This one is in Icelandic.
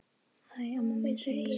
Hæ, amma mín, segi ég.